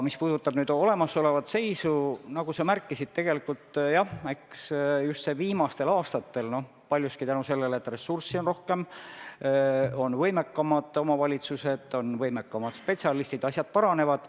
Mis puudutab olemasolevat seisu, siis, nagu sa märkisid, jah, just viimastel aastatel on – paljuski tänu sellele, et ressurssi on rohkem – võimekamad omavalitsused ja spetsialistid, seega asjad paranevad.